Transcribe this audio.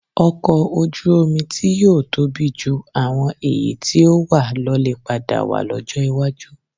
Ọkọ̀̀ Ojú-omi tí yóò tóbi ju àwọn èyí tí ó wà lọ lè padà wà lọ́jọ́ iwájú